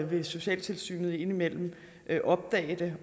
vil socialtilsynet indimellem opdage